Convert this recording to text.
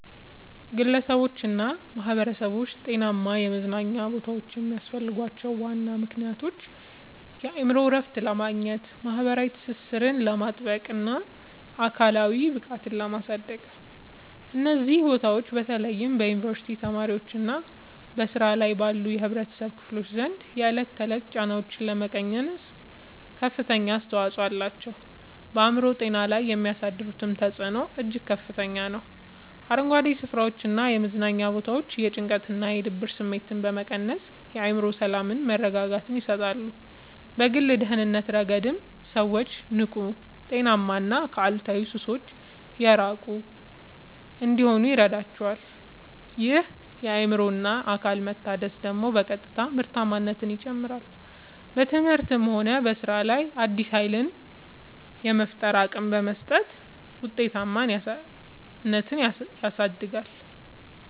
ግለሰቦችና ማኅበረሰቦች ጤናማ የመዝናኛ ቦታዎች የሚያስፈልጓቸው ዋና ምክንያቶች የአእምሮ እረፍት ለማግኘት፣ ማኅበራዊ ትስስርን ለማጥበቅና አካላዊ ብቃትን ለማሳደግ ነው። እነዚህ ቦታዎች በተለይ በዩኒቨርሲቲ ተማሪዎችና በሥራ ላይ ባሉ የኅብረተሰብ ክፍሎች ዘንድ የዕለት ተዕለት ጫናዎችን ለመቀነስ ከፍተኛ አስተዋጽኦ አላቸው። በአእምሮ ጤና ላይ የሚያሳድሩት ተጽዕኖ እጅግ ከፍተኛ ነው፤ አረንጓዴ ስፍራዎችና የመዝናኛ ቦታዎች የጭንቀትና የድብርት ስሜትን በመቀነስ የአእምሮ ሰላምና መረጋጋትን ይሰጣሉ። በግል ደህንነት ረገድም ሰዎች ንቁ: ጤናማና ከአሉታዊ ሱሶች የራቁ እንዲሆኑ ይረዳቸዋል። ይህ የአእምሮና አካል መታደስ ደግሞ በቀጥታ ምርታማነትን ይጨምራል: በትምህርትም ሆነ በሥራ ላይ አዲስ ኃይልና የፈጠራ አቅም በመስጠት ውጤታማነትን ያሳድጋል።